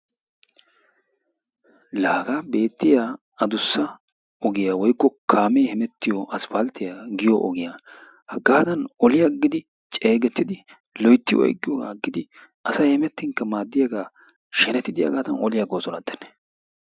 Laa hagaa beetiya addussa ogiya woykko kaamee hemettiyo asppalttiya giyo ogiya hagaadan oli agidi ceegettidi loytti oyqqiyogaa agidi asay hemettinkka maadiyagaa shenettidi hagaadan oli agoosonatenne.